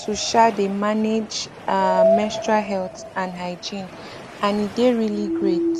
to um dey manage um menstrual health and hygiene and e dey really great